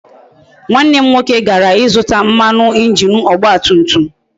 Nwanne m nwoke gara ịzụta mmanụ injin ọgba tum tum